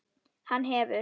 Hann hefur.